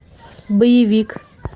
боевик